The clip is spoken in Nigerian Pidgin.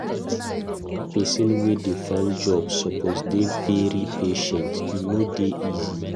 Pesin wey dey find job suppose dey very patient, e no dey easy.